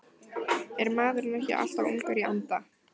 Er maður ekki alltaf ungur í anda?